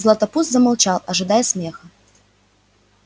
златопуст замолчал ожидая смеха